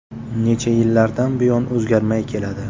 Necha yillardan buyon o‘zgarmay keladi.